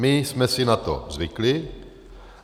My jsme si na to zvykli.